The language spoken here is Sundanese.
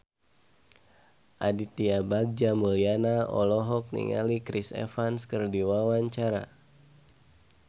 Aditya Bagja Mulyana olohok ningali Chris Evans keur diwawancara